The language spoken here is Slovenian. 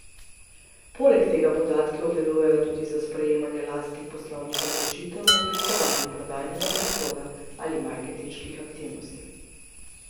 Poleg tega podatke obdelujejo tudi za sprejemanje lastnih poslovnih odločitev o oblikovanju prodajnega prostora ali marketinških aktivnosti.